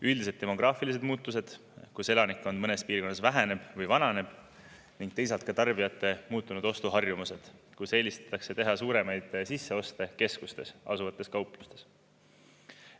Üldiselt demograafilised muutused, kus elanikkond mõnes piirkonnas väheneb või vananeb ning teisalt ka tarbijate muutunud ostuharjumused, kus eelistatakse teha suuremaid sisseoste keskustes asuvates kauplustes.